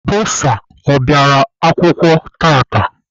Bọsa ọ bịara akwụkwọ tata?